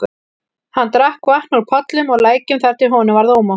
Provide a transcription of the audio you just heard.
Hann drakk vatn úr pollum og lækjum þar til honum varð ómótt.